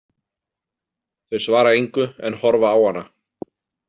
Þau svara engu en horfa á hana.